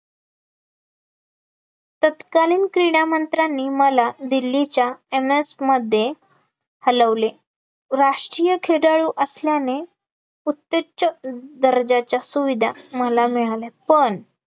तत्कालीन क्रीडामंत्र्यांनी मला दिल्लीच्या MS मध्ये हलवले, राष्ट्रीय खेडाळू असल्याने उत्तज्ज दर्जाच्या सुविधा मला मिळाले, पण